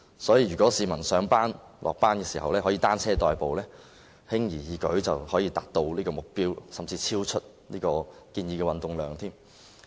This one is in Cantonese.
所以，如果市民上下班時以單車代步，輕而易舉便可達到這個目標，甚至超出建議的運動量。